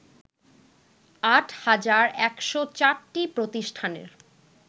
আট হাজার ১০৪টি প্রতিষ্ঠানের